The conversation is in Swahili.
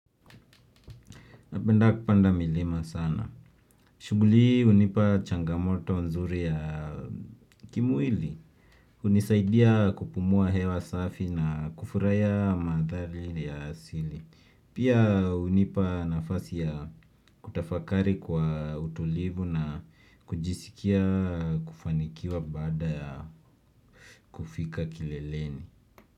Napenda kupanda milima sana. Shughuli hii hunipa changamoto nzuri ya kimwili. Unisaidia kupumua hewa safi na kufurahia mantharii ya sili. Pia hunipa nafasi ya kutafakari kwa utulivu na kujisikia kufanikiwa bada ya kufika kileleni.